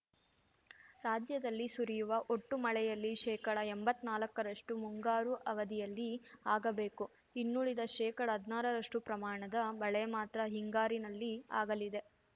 ರಾಜ್ಯದಲ್ಲಿ ಸುರಿಯುವ ಒಟ್ಟು ಮಳೆಯಲ್ಲಿ ಶೇಕಡಎಂಬತ್ನಾಲ್ಕರಷ್ಟುಮುಂಗಾರು ಅವಧಿಯಲ್ಲಿ ಆಗಬೇಕು ಇನ್ನುಳಿದ ಶೇಕಡಹದ್ನಾರರಷ್ಟುಪ್ರಮಾಣದ ಮಳೆ ಮಾತ್ರ ಹಿಂಗಾರಿನಲ್ಲಿ ಆಗಲಿದೆ